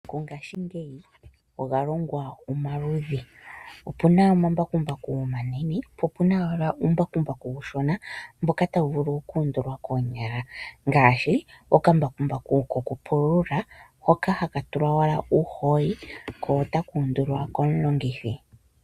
Mongashingeyi omambakumbaku oga longwa pamaludhi opuna omambaku mbaku omanene opuna uumbakumbaku uushona mboka tawu vulu oku undulwa koonyala ngaashi okambakumbaku hoka haka tulwa uuhooli ko otaka undulwa komulongithi.